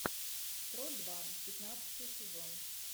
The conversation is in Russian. крот два пятнадцатый сезон